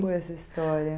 foi essa história?